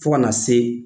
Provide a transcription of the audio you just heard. Fo ka na se